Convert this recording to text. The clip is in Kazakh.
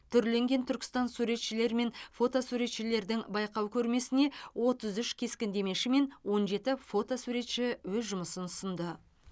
түрленген түркістан суретшілер мен фото суретшілердің байқау көрмесіне отыз үш кескіндемеші мен он жеті фотосуретші өз жұмыстарын ұсынды